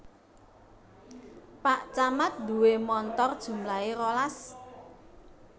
Pak camat nduwe montor jumlahe rolas